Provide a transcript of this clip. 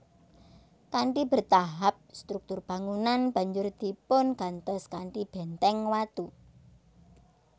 Kanthi bertahap struktur bangunan banjur dipungantos kanthi bèntèng watu